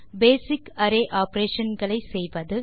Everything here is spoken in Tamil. பேசிக் அரே ஆப்பரேஷன் களை செய்வது